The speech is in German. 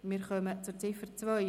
Wir kommen zur Ziffer 2.